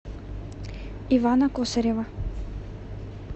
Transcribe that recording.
ивана косарева